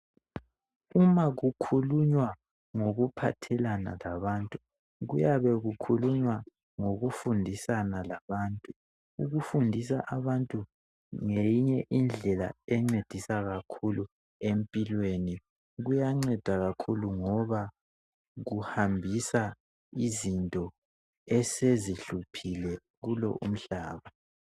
Uma kukhulunywa ngokuphathelana labantu, kuyabe kukhulunywa ngokufundiswana labantu. Ukufundisa abantu ngeyinye Indlela encedisa kakhulu empilweni. kuyanceda kakhulu ngoba kuhambisa izinto esezihluphile kulo umhlaba.